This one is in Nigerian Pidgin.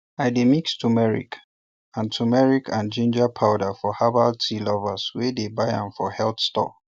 i dey mix turmeric and turmeric and ginger powder for herbal tea lovers wey dey buy am for health store